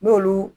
N'olu